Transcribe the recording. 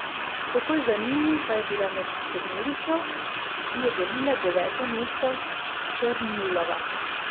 Takoj za njimi pa je bila med sedmerico, ki je delila deveto mesto, Černjulova.